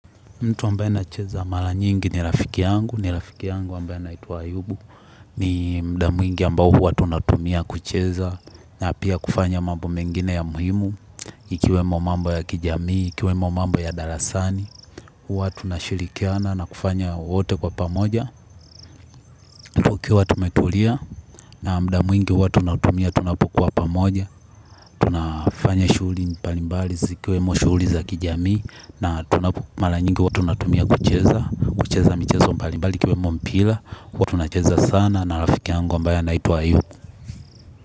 Mtu ambaye anacheza mara nyingi ni rafiki yangu, ni rafiki yangu ambaye anaitwa Ayubu. Ni muda mwingi ambao huwa tunatumia kucheza. Na pia kufanya mambo mengine ya muhimu ikiwemo mambo ya kijamii, ikiwemo mambo ya darasani. Huwa tunashirikiana na kufanya wote kwa pamoja. Tukiwa tumetulia, na muda mwingi huwa tunautumia tunapokuwa pamoja. Tunafanya shughli mbalimbali zikiwemo shughli za kijamii. Na mara nyingi huwa tunatumia kucheza, kucheza michezo mbali mbali ikiwemo mpira, huwa tunacheza sana na rafiki yangu ambaye anaitwa Ayubu.